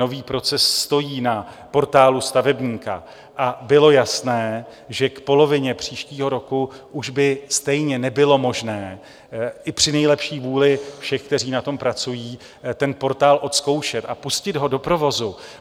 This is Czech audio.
Nový proces stojí na Portálu stavebníka a bylo jasné, že k polovině příštího roku už by stejně nebylo možné i při nejlepší vůli všech, kteří na tom pracují, ten portál odzkoušet a pustit ho do provozu.